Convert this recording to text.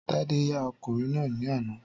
Tádé ya ọkùnrin náà ní àná.